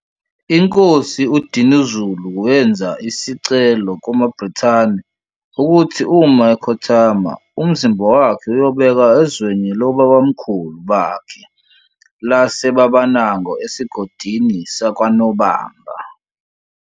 Inkosi uDinuzulu wenza isicelio kuma Brithani ukuthi uma ekhothama umzimba wakhe uyobekwa ezwewni lawobabamkhulu bakhe lase Babanango esigodini sakwa Nobamba.